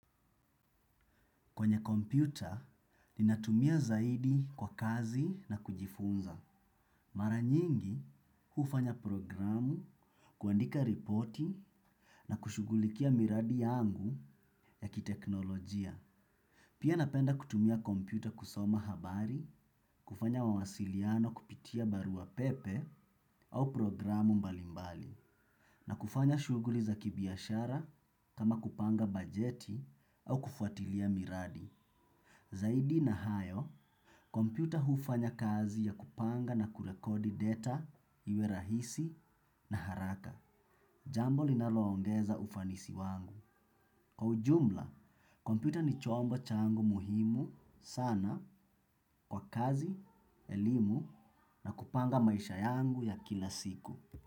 Kwenye kompyuta, ninatumia zaidi kwa kazi na kujifunza. Mara nyingi, hufanya programu, kuandika ripoti na kushugulikia miradi yangu ya kiteknolojia. Pia napenda kutumia kompyuta kusoma habari, kufanya wawasiliano kupitia barua pepe au programu mbalimbali. Na kufanya shuguli za kibiashara kama kupanga bajeti au kufuatilia miradi. Zaidi na hayo, kompyuta hufanya kazi ya kupanga na kurekodi data iwe rahisi na haraka. Jambo linaloongeza ufanisi wangu. Kwa ujumla, kompyuta ni chombo changu muhimu sana kwa kazi, elimu na kupanga maisha yangu ya kila siku.